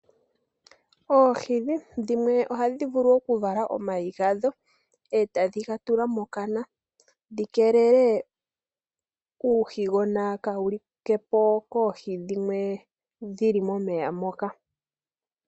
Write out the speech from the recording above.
Oohi dhimwe ohadhi vulu okuvala omayi gadho, etadhi ga tula mokana dhi keelele uuhigona kawu likepo koohi dhimwe dhili momeya moka.